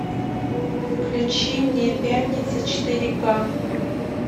включи мне пятница четыре ка